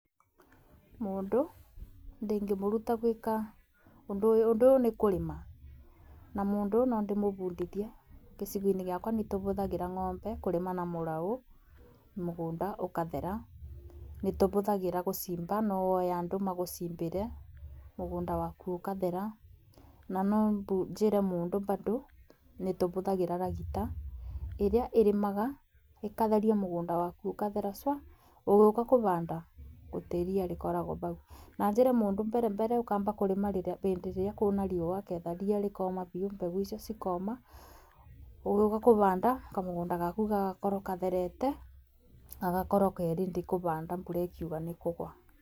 Mũndũ ndingĩmũruta gwĩka ũndũ ũyũ, ũndũ ũyũ nĩ kũrĩma na mũndũ no ndĩ mũbundithie, gĩcigo-inĩ gĩakwa nĩ tũbũthagĩra ng'ombe kũrĩma na mũraũ mũgũnda ũkathera. Nĩ tũbũthagĩra gũcimba no woe andũ magũcimbĩre mũgũnda waku ũkathera. Na no njĩre mũndũ bandũ nĩ tũbũthagĩra ragita ĩrĩa ĩrĩmaga ĩkatheria mũgũnda waku ũkathera cua, ũgĩũka kũbanda gũtirĩ ria rĩkoragwo bau. Na njĩre mũndũ ũkĩamba kũrĩma mbere mbere ũkamba kũrĩma bĩndĩ ĩrĩa kwĩna riua getha ria rĩkoma biũ mbegũ icio cikoma. Ũgiũka kũbanda kamũgũnda gaku gagakorwo katherete gagakorwo kerĩndĩ kũbanda mbura ĩkiũga nĩkũgũa.